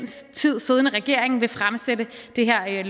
tid siddende regering vil fremsætte det her